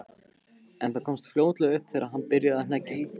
En það komst fljótlega upp þegar hann byrjaði að hneggja.